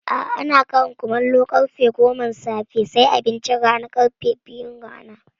A'a, ana Ƙarin kumallu karfe goman safe sai abincin rana kuma ƙarfe biyun rana